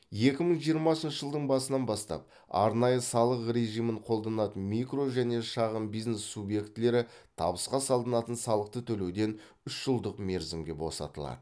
екі мың жиырмасыншы жылдың басынан бастап арнайы салық режимін қолданатын микро және шағын бизнес субъектілері табысқа салынатын салықты төлеуден үш жылдық мерзімге босатылады